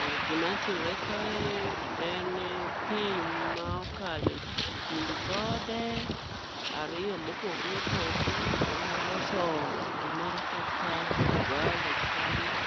Ah, gima timre kae en ni pi ma okalo e kind gode ariyo mopogre opogre. Kendo loso gimoro kaka vale kanyo,